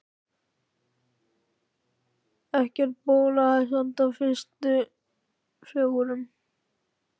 En ekkert bólaði samt á bræðrunum fjórum.